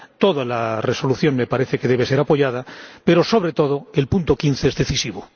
Toda la Resolución me parece que debe ser apoyada, pero, sobre todo, el apartado 15 es decisivo.